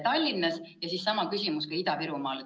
" Sellele järgneb sama küsimus Ida-Virumaa kohta.